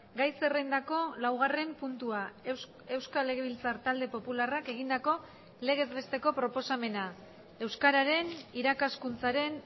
gai zerrendako laugarren puntua euskal legebiltzar talde popularrak egindako legez besteko proposamena euskararen irakaskuntzaren